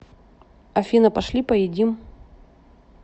афина пошли поедим